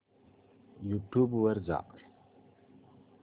YouTube वर जा